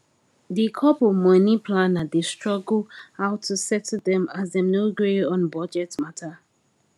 di couple money planner dey struggle how to settle them as dem no gree on budget matter